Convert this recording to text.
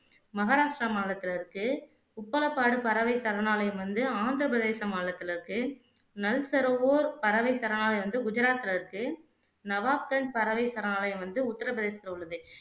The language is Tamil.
மஹாரஷ்டிரா மாநிலத்துல இருக்கு உப்பலப்பாடு பறவை சரணாலயம் வந்து ஆந்திர பிரதேச மாநிலத்துல இருக்கு நல்சரோவோர் பறவை சரணாலயம் வந்து குஜராத்ல இருக்கு நவாப்கஞ்ச் பறவை சரணாலயம் வந்து உத்திர பிரதேசத்துல உள்ளது